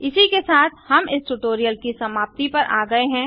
इसी के साथ हम इस ट्यूटोरियल की समाप्ति पर आ गए हैं